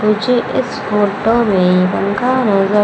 मुझे इस फोटो में पंखा नजर--